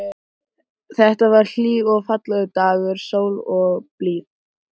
Kirkjan, sem stóð á fljótsbakkanum, var ekki ýkja stór.